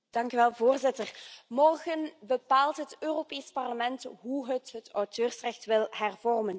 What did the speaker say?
Voorzitter, morgen bepaalt het Europees Parlement hoe het het auteursrecht wil hervormen.